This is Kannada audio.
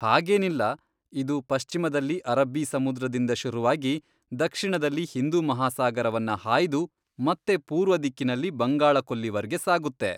ಹಾಗೇನಿಲ್ಲ, ಇದು ಪಶ್ಚಿಮದಲ್ಲಿ ಅರಬ್ಬೀ ಸಮುದ್ರದಿಂದ ಶುರುವಾಗಿ, ದಕ್ಷಿಣದಲ್ಲಿ ಹಿಂದೂ ಮಹಾಸಾಗರವನ್ನ ಹಾಯ್ದು ಮತ್ತೆ ಪೂರ್ವದಿಕ್ಕಿನಲ್ಲಿ ಬಂಗಾಳ ಕೊಲ್ಲಿವರ್ಗೆ ಸಾಗುತ್ತೆ.